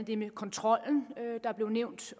det med kontrollen der blev nævnt